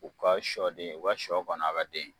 O ka sɔden o ka sɔ kɔni a be den